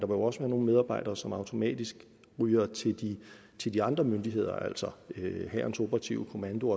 også være nogle medarbejdere som automatisk ryger til til de andre myndigheder altså hærens operative kommando